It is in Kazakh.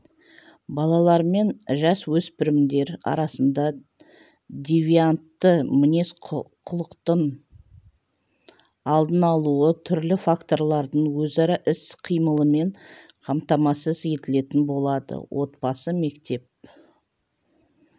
балалар мен жасөспірімдер арасында девиантты мінез-құлықтың алдын алуы түрлі факторлардың өзара іс-қимылымен қамтамасыз етілетін болады отбасы мектеп